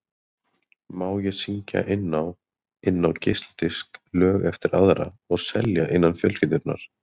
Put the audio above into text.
Má ég syngja inn á inn á geisladisk lög eftir aðra og selja innan fjölskyldunnar?